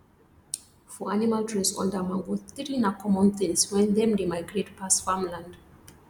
for animal to rest under mango tree na common things wen them dey migrate pass farmland